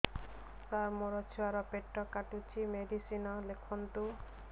ସାର ମୋର ଛୁଆ ର ପେଟ କାଟୁଚି ମେଡିସିନ ଲେଖନ୍ତୁ